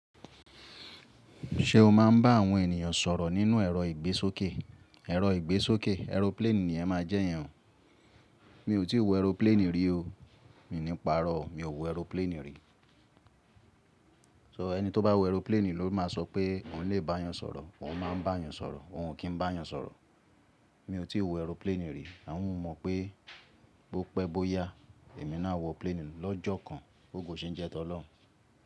Ṣé o máa ń bá àwọn ènìyàn sọ̀rọ̀ nínú ẹ̀rọ ìgbésókè? Ẹ̀rọ ìgbésókè, aeroplane ni ẹ máa jẹ́ yẹn. Mi ò tí ì wo aeroplane rí o. Mí ní paarọ̀, mi ò wo aeroplane rí. So ẹni tó bá wo aeroplane ló máa sọ pé òun lè bá yan sọ̀rọ̀, òun máa ń bá yan sọ̀rọ̀, òun kì ń bá yan sọ̀rọ̀. Mi ò tí ì wo aeroplane rí àwọn mọ̀ pé bó pẹ́ bó yá èmi náà wọ plane lọ́jọ́ kan bógo ṣe ń jẹ́ tọ́ lọ́hùn.